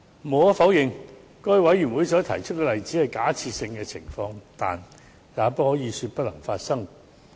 無可否認，該位委員提出的例子只是假設性情況，但也不可以說不會發生。